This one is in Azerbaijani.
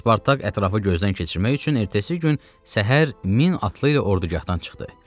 Spartak ətrafı gözdən keçirmək üçün ertəsi gün səhər min atlı ilə ordugahdan çıxdı.